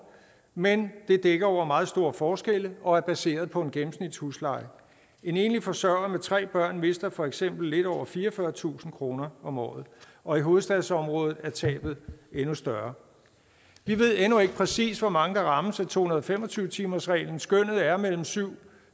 men det dækker over meget store forskelle og er baseret på en gennemsnitshusleje en enlig forsørger med tre børn mister for eksempel lidt over fireogfyrretusind kroner om året og i hovedstadsområdet er tabet endnu større vi ved endnu ikke præcis hvor mange der rammes af to hundrede og fem og tyve timersreglen skønnet er syv